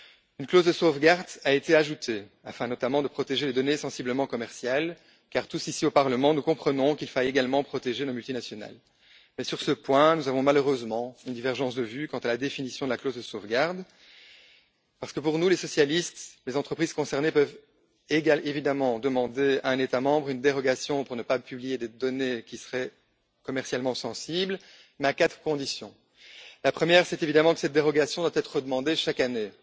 Une clause de sauvegarde a été ajoutée afin, notamment, de protéger les données commerciales sensibles, car nous tous, ici, au Parlement, comprenons qu'il faille également protéger nos multinationales. Mais, sur ce point, nous avons malheureusement une divergence de vues quant à la définition de la clause de sauvegarde, parce que, pour nous, socialistes, les entreprises concernées peuvent demander à un État membre une dérogation pour ne pas publier des données qui seraient commercialement sensibles, mais à quatre conditions. La première, c'est que cette dérogation doit être redemandée chaque année.